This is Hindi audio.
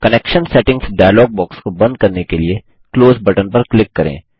कनेक्शन सेटिंग्स डायलॉग बॉक्स को बंद करने के लिए क्लोज बटन पर क्लिक करें